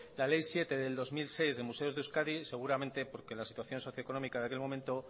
la ley siete barra dos mil seis de museos de euskadi seguramente porque la situación socio económica de aquel momento